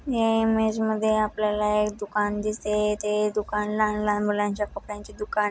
या इमेज मध्ये आपल्याला एक दुकान दिसते ते दुकान लहान लहान मुलांचा कपड्यांची दुकान--